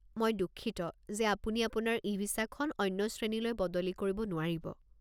মই দুঃখিত যে আপুনি আপোনাৰ ই-ভিছাখন অন্য শ্ৰেণীলৈ বদলি কৰিব নোৱাৰিব।